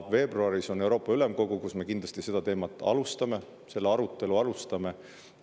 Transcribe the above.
Veebruaris on Euroopa Ülemkogu, kus me kindlasti selle teema arutelu alustame.